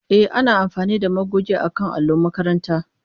E, ana amfani da magogi akan allon makaranta.